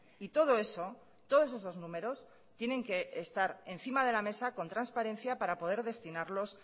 y todo eso todos esos números tienen que estar encima de la mesa con transparencia para poder destinarlos